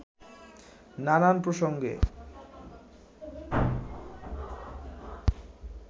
নানান প্রসঙ্গে